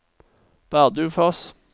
Bardufoss